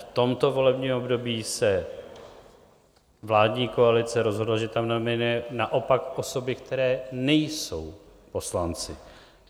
V tomto volebním období se vládní koalice rozhodla, že tam nominuje naopak osoby, které nejsou poslanci.